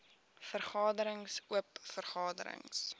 vergaderings oop vergaderings